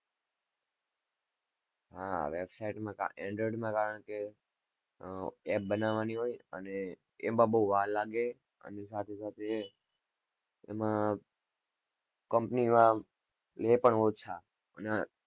હા website માં કા Android મા કારણ કે અમ app બનાવાની એમાં બઉ વાર લાગે એની સાથે સાથે એમાં company વાળા લે પણ ઓછા